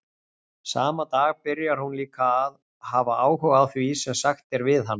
Sama dag byrjar hún líka að hafa áhuga á því sem sagt er við hana.